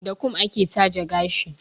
Da kum ake taje gashi.